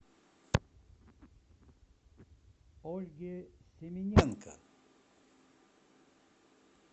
ольге семененко